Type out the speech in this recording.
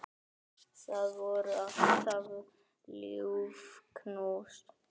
Það voru alltaf ljúf knús.